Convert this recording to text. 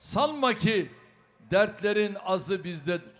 Sanma ki, dərdlərin azı bizdədir.